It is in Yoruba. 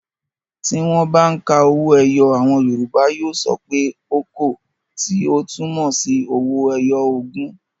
Tí wọ́n bá ń ka owó ẹyọ àwọn Yorùbá yóò sọ pé "okòó" tí ó túmọ̀ sí owó ẹyọ ogún.